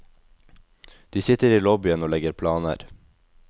De sitter i lobbyen og legger planer.